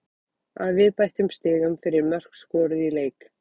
Að viðbættum stigum fyrir mörk skoruð í leik.